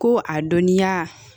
Ko a dɔnniya